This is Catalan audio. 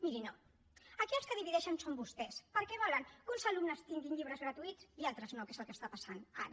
miri no aquí els que divideixen són vostès perquè volen que uns alumnes tinguin llibres gratuïts i altres no que és el que està passant ara